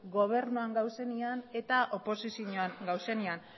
gobernuan gaudenean eta oposizioan gaudenean